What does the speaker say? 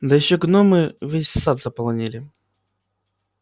да ещё гномы весь сад заполонили